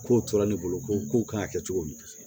Kow tora ne bolo ko ko kan ka kɛ cogo min